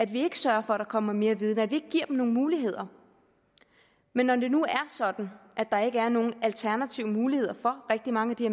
vi ikke sørger for at der kommer mere viden fordi vi ikke giver dem nogle muligheder men når det nu er sådan at der ikke er nogen alternative muligheder for rigtig mange af de